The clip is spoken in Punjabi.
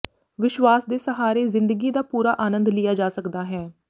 ਵਿਸ਼ਵਾਸ ਦੇ ਸਹਾਰੇ ਜ਼ਿੰਦਗੀ ਦਾ ਪੂਰਾ ਆਨੰਦ ਲਿਆ ਜਾ ਸਕਦਾ ਹੈ